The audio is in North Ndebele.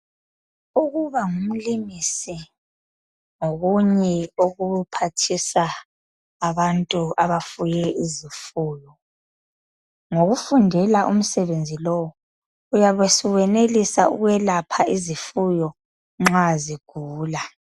Ukuba ngumlimisi ngokunye okuphathisa abantu abafuye izifuyo .Ngokufundela umsebenzi lowu uyabe suwenelisa ukwelapha izifuyo nxa zigula .